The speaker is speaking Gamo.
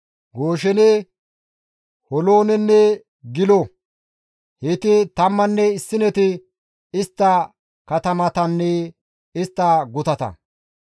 Gooshene, Holoonenne Gilo; heyti tammanne issineti istta katamatanne istta gutata.